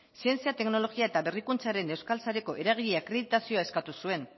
zientzia teknologia eta berrikuntzaren euskal sareko eragile akreditazioa eskatu zuen